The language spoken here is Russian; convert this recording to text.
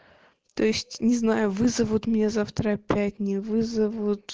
то есть не знаю вызовут меня завтра опять не вызовут